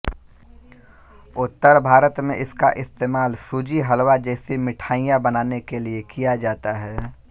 उत्तर भारत में इसका इस्तेमाल सूजी हलवा जैसी मिठाईयां बनाने के लिए किया जाता है